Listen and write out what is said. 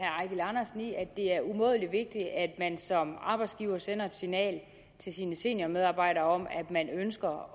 andersen i at det er umådelig vigtigt at man som arbejdsgiver sender et signal til sine seniormedarbejdere om at man ønsker